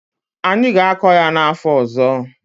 Anyị ga-akọ ya n'afọ ọzọ.